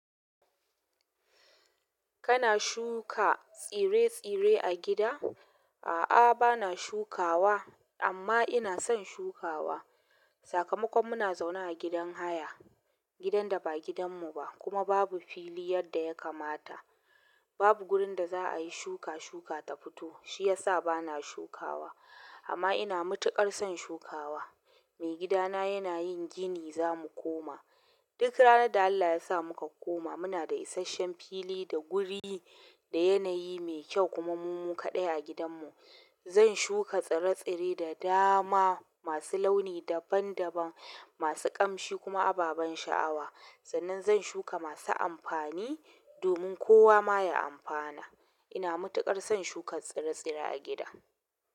Kana shuka tsire-tsire a gida? A'a bana shukawa amma ina son shukawa. Sakamakon muna zaune a gidan haya, gidan da ba gidanmu ba kuma babu fili yadda ya kamata. Babu wurin da za a yi shuka shuka ta fito, shi ya sa bana shukawa. Amma ina matuƙar son shukawa. Maigidana yana yin gini zamu koma. Duk ranar da Allah ya sa muka koma, muna da isasshen fili da wuri da yanayi mai kyau kuma mu mu kaɗai a gidanmu. Zan shuka tsire-tsire da dama masu launi daban-daban, masu ƙamshi kuma ababan sha'awa. Sannan zan shuka masu amfani domin kowa ma ya amfana. Ina matuƙar son shukan tsire-tsire a gida.